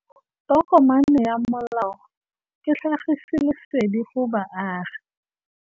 Tokomane ya molao ke tlhagisi lesedi go baagi.